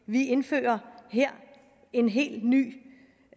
vi indfører her en helt ny